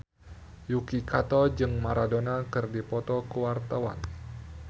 Yuki Kato jeung Maradona keur dipoto ku wartawan